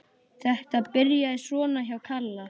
Þetta byrjaði svona hjá Kalla.